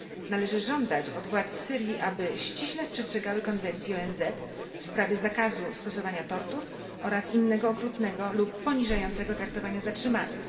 Należy żądać od władz Syrii, aby ściśle przestrzegały Konwencji ONZ w sprawie zakazu stosowania tortur oraz innego okrutnego lub poniżającego traktowania zatrzymanych.